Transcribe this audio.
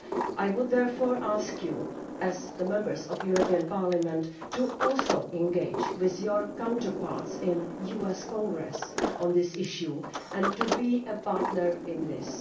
I would therefore ask you too, as Members of the European Parliament, to engage with your counterparts in the US Congress on this issue and to be a partner in this.